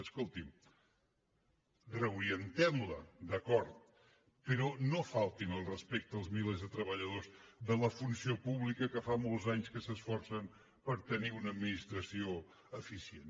escolti’m reorientem la d’acord però no faltin al respecte als milers de treballadors de la funció pública que fa molts anys que s’esforcen per tenir una administració eficient